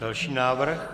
Další návrh.